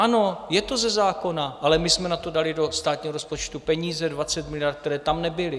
Ano, je to ze zákona, ale my jsme na to dali do státního rozpočtu peníze, 20 miliard, které tam nebyly.